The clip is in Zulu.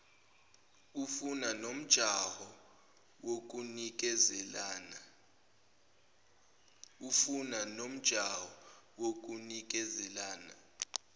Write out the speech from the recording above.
ufana nomjaho wokunikezelana